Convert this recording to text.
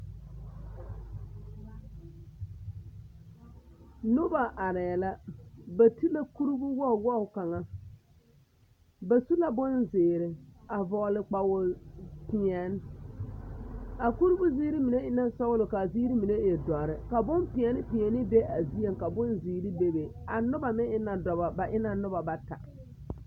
Noba arɛɛ la ba ti la kuribu wogi wogi kaŋa ba su la bonzeere a vɔgele kpawo-peɛne, a kuribu ziiri mine e na sɔgelɔ ka a ziiri mine e dɔre ka bompeɛne peɛne be a zieŋ ka bonzeere bebe a noba meŋ e na dɔbɔ ba e na noba bata.